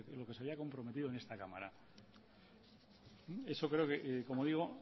lo que se había comprometido en esta cámara eso creo que como digo